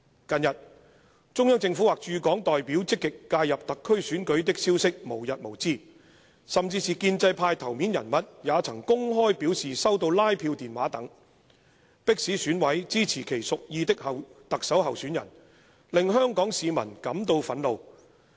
"近日，中央政府或駐港代表積極介入特區選舉的消息無日無之，甚至是建制派頭面人物也曾公開表示收到拉票電話等，迫使選委支持其屬意的特首候選人，令香港市民感到憤怒。